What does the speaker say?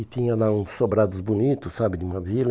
E tinha lá uns sobrados bonitos, sabe, de uma vila.